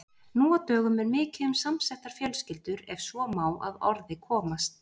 Nú á dögum er mikið um samsettar fjölskyldur ef svo má að orði komast.